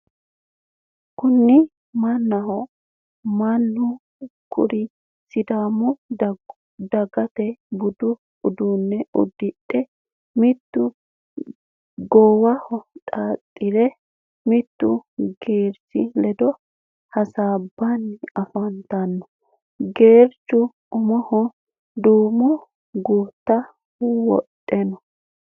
Kuni mannaho, mannu kuri sidaamu dagata budu uddano uddidhe mitu goowaho xaaxidhe mittu geerchi ledo hasaabbanni afantanno geerchu umoho duumo gutta wodhino.